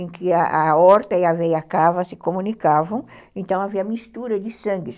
em que a aorta e a veia cava se comunicavam, então havia mistura de sangues.